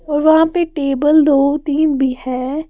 और वहां पर टेबल दो तीन भी है।